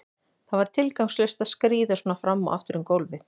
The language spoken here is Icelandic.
Það var tilgangslaust að skríða svona fram og aftur um gólfið.